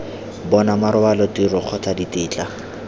bona marobalo tiro kgotsa ditetla